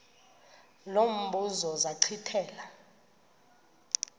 lo mbuzo zachithela